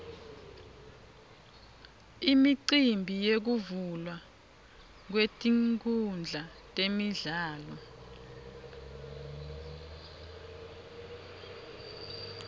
imicimbi yekuvulwa kwetinkhundla temidlalo